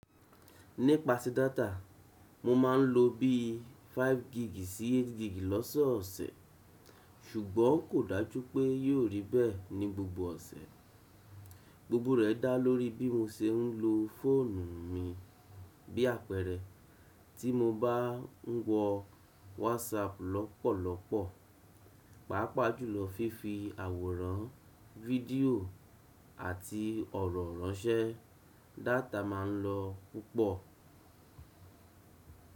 Nípa si data, mo máa ń lo bí i 5 gig sí 8 gig lọ́sọ̀ọ̀sẹ̀, ṣùgbọ́n kò dájú pé yóò rí bẹ́ẹ̀ ní gbogbo ọ̀sẹ̀. Gbogbo rẹ̀ dá lórí bí mo ṣe ń lo fóònù mi. Bi àpeere, ti mo n ba wo WhatsApp lópòlópò paapaa jùlo fifi àwòrán, fédio ati òrò ránsé, data maa nlo púpò.